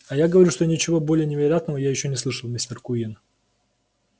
а я говорю что ничего более невероятного я ещё не слышал мистер куинн